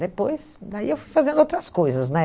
Depois, daí eu fui fazendo outras coisas, né?